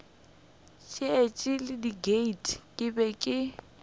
šetše le diket ke be